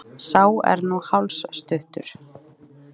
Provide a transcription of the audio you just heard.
Sá er nú hálsstuttur!